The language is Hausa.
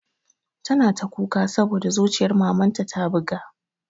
Tana ta kuka saboda zuciyar mamanta ta buga